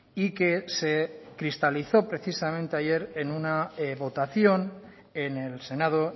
y que se cristalizó precisamente ayer en una votación en el senado